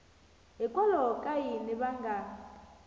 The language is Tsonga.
hikwalaho ka yini va nga